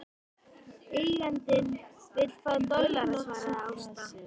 Eigandinn vill fá dollara, svaraði Ásta.